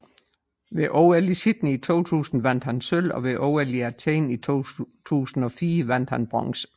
Ved OL i Sydney i 2000 vandt han sølv og ved OL i Athen i 2004 vandt han bronze